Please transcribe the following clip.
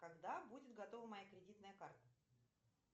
когда будет готова моя кредитная карта